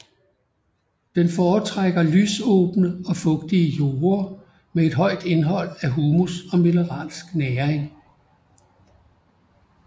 Den foretrækker lysåbne og fugtige jorde med et højt indhold af humus og mineralsk næring